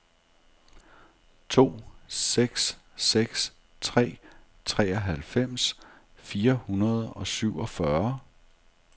to seks seks tre treoghalvfems fire hundrede og syvogfyrre